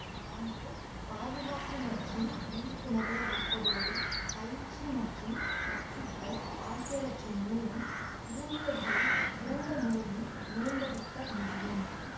நான்கு பாதுகாப்பு மற்றும் விழிப்புணர்வை அளிப்பதோடு பயிற்சி மற்றும் கற்பித்தல் ஆகியவற்றின் மூலம் ஊழியர்களைச் சிறந்த முறையில் மேம்படுத்த முடியும்